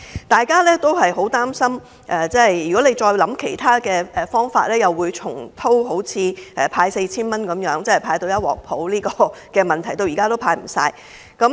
大家都很擔心，政府若構思其他方法，會重蹈覆轍，畢竟早前派發 4,000 元弄得一團糟，到現在還未完成派發程序。